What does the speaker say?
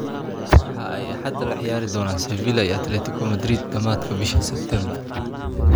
waxa ay Axada la ciyaari doonaan Sevilla iyo Atletico Madrid dhamaadka bisha September.